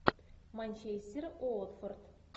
манчестер уотфорд